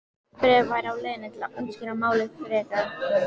Bréf væri á leiðinni til að útskýra málið frekar.